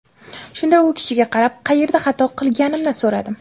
Shunda u kishiga qarab, qayerda xato qilganimni so‘radim.